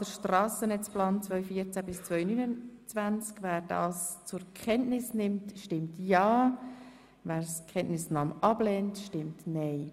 FDP sennetzplan 2014–2029, Aktualisierung der Anhänge 1 bis 3» zur Kenntnis nimmt, stimmt ja, wer die Kenntnisnahme ablehnt, stimmt nein.